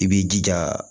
I b'i jija